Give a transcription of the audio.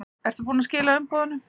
Ertu búinn að skila umboðinu?